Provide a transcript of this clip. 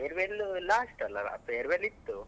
Farewell last ಅಲ್ಲ farewell ಇತ್ತು.